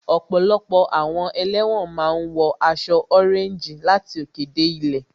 Ọ̀pọ̀lọpọ̀ àwọn ẹlẹ́wọ̀n máa ń wọ aṣọ ọréńjì láti òkè dé ilẹ̀